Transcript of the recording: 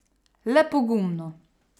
Le pogumno!